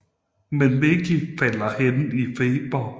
Men Mikkel falder hen i feber